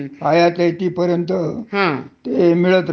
हं. आणि तुम्ही किती कार्यक्षमतेने काम करता